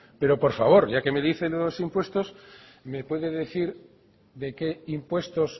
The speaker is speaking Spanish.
pero por favor ya que me dicen los impuestos me puede decir de qué impuestos